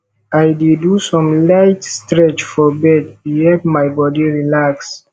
i dey do some light stretch for bed e help my body relax